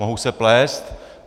Mohu se plést.